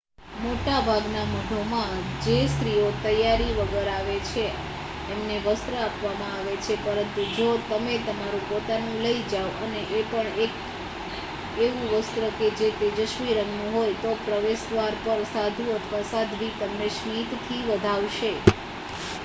મોટાભાગના મઠોમાં જે સ્ત્રીઓ તૈયારી વગર આવે છે એમને વસ્ત્ર આપવામાં આવે છે પરંતુ જો તમે તમારું પોતાનું લઈ જાઓ અને એ પણ 1 એવું વસ્ત્ર જે તેજસ્વી રંગનું હોય તો પ્રવેશદ્વાર પર જ સાધુ અથવા સાધ્વી તમને સ્મિતથી વધાવશે